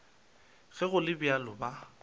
ge go le bjalo ba